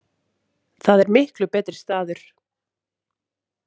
Það er miklu betri staður.